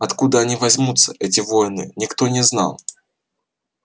откуда они возьмутся эти воины никто не знал